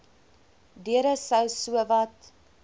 deure sou sowat